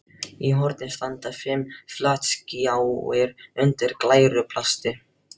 Í horni standa fimm flatskjáir undir glæru plasti.